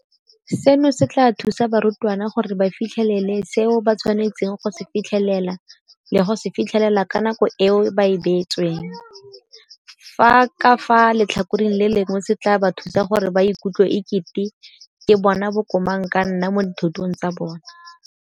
Seno se tla thusa barutwana gore ba fitlhelele seo ba tshwanetseng go se fitlhelela le go se fitlhelela ka nako eo ba e beetsweng, fa ka fa letlhakoreng le lengwe se tla ba thusa gore ba ikutlwe e kete ke bona bo komang ka nna mo dithutong tsa bona.